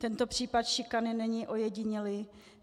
Tento případ šikany není ojedinělý.